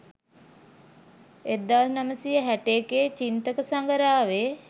1961 Chinthaka සඟරාවේ